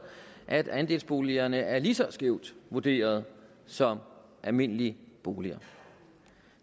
at andelsboligerne er lige så skævt vurderet som almindelige boliger